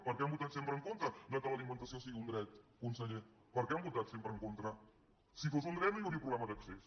per què han votat sempre en contra que l’alimentació sigui un dret conseller per què hi han votat sempre en contra si fos un dret no hi hauria problema d’accés